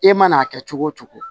I mana kɛ cogo o cogo